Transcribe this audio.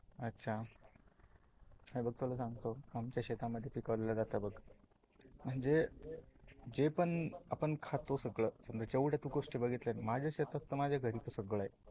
अच्चा, हे बघ तुला सांगतो आमच्या शेतामध्ये पिकवल्या जातात बघ, जे पण आपण खातो सगळ जेवड्या तू गोष्टी बघितल्या आहेत. माझ्या शेतात त माझ्या घरी सगळ आहे.